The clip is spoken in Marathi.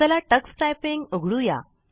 चला टक्स टायपिंग उघडूया